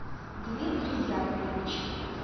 дмитрий яковлевич